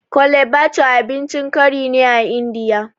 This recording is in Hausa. Kole bathure abincin kari ne a Indiya